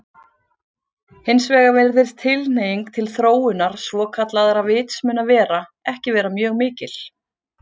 Hins vegar virðist tilhneiging til þróunar svokallaðra vitsmunavera ekki vera mjög mikil.